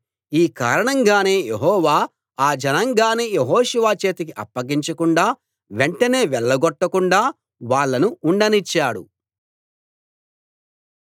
ఈ కారణంగానే యెహోవా ఆ జనాంగాన్ని యెహోషువ చేతికి అప్పగించకుండా వెంటనే వెళ్లగొట్టకుండా వాళ్ళను ఉండనిచ్చాడు